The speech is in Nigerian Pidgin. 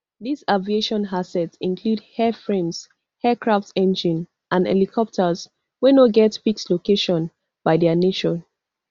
dis aviation assets include airframes aircraft engines and helicopters wey no get fixed location by dia nature